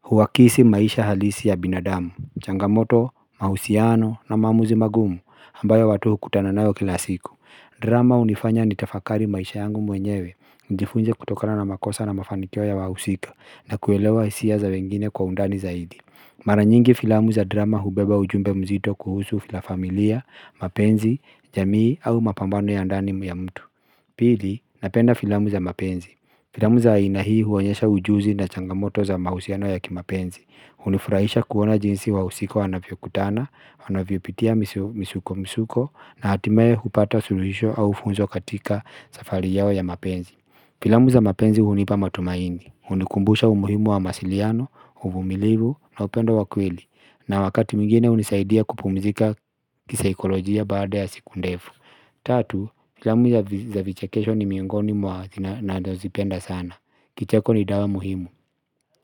huwakisi maisha halisi ya binadamu Changamoto, mahusiano na maamuzi magumu ambayo watu hukutana nayo kila siku, drama hunifanya nitafakari maisha yangu mwenyewe Njifunje kutokana na makosa na mafanikio ya wahusika na kuelewa hisia za wengine kwa undani zaidi Mara nyingi filamu za drama hubeba ujumbe mzito kuhusu filafamilia, mapenzi, jamii au mapambano ya andani ya mtu Pili, napenda filamu za mapenzi. Filamu za ina hii huonyesha ujuzi na changamoto za mahusiano ya kimapenzi. Hunifurahisha kuona jinsi wahusika wanavyokutana, wanavyopitia misuko misuko na hatimeye hupata suluhisho au funzo katika safari yao ya mapenzi Filamu za mapenzi hunipa matumaini hunikumbusha umuhimu wa mawasiliano, umumilivu na upenda wa kweli na wakati mwingine hunisaidia kupumizika kisaikolojia baada ya siku ndefu Tatu, filamu za vichekesho ni miongoni mwa ninazozipenda sana. Kicheko ni dawa muhimu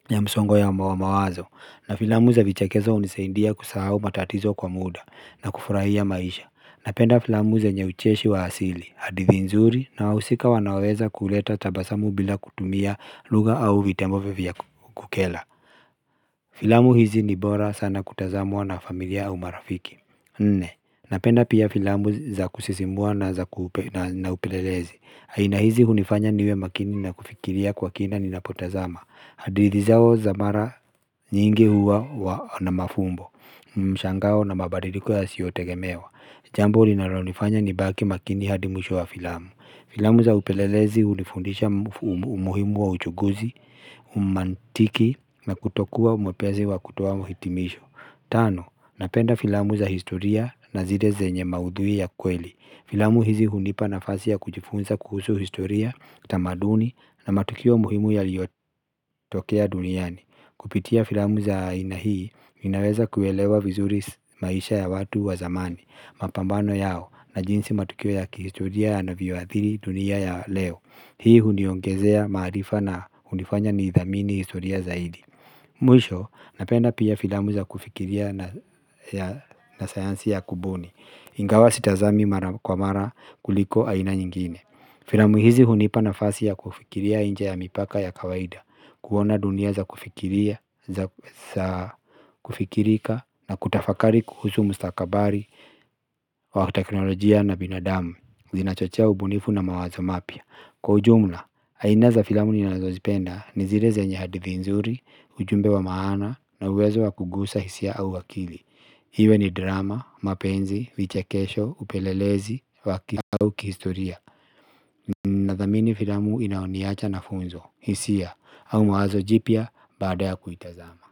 ya msongo ya mawazo na filamu za vichekesho hunisaidia kusahau matatizo kwa muda na kufurahia maisha. Napenda filamu zenye ucheshi wa asili hadithi nzuri na wahusika wanaoweza kuleta tabasamu bila kutumia lugha au vitembofe vya kukera Filamu hizi ni bora sana kutazamwa na familia au marafiki Nne, napenda pia filamu za kusisimua na za kupe na upelelezi. Aina hizi hunifanya niwe makini na kufikiria kwa kina ninapotazama hadithi zao za mara nyingi huwa na mafumbo mshangao na mabadiliko yasiyo tegemewa. Jambo linalonifanya nibaki makini hadi mwisho wa filamu. Filamu za upelelezi hunifundisha umuhimu wa uchuguzi, umantiki na kutokuwa mwepesi wa kutoa hitimisho. Tano, napenda filamu za historia na zile zenye maudhui ya kweli. Filamu hizi hunipa nafasi ya kujifunza kuhusu historia, tamaduni na matukio muhimu yaliyotokea duniani Kupitia filamu za aina hii, ninaweza kuelewa vizuri maisha ya watu wa zamani. Mapambano yao na jinsi matukio ya kihistoria yanavyoadhiri dunia ya leo. Hii huniongezea maarifa na hunifanya ni idhamini historia zaidi Mwisho napenda pia filamu za kufikiria na sayansi ya kubuni. Ingawa sitazami mara kwa mara kuliko aina nyingine. Filamu hizi hunipa nafasi ya kufikiria nje ya mipaka ya kawaida kuona dunia za kufikirika na kutafakari kuhusu mustakabari wa teknolojia na binadamu Zinachochea ubunifu na mawazo mapya. Kwa ujumla, aina za filamu ninazozipenda ni zile zenye hadithi nzuri, ujumbe wa maana na uwezo wa kugusa hisia au akili iwe ni drama, mapenzi, vichekesho, upelelezi wa akili au kihistoria Nathamini filamu inayoniacha na funzo, hisia, au mawazo jipya baada ya kuitazama.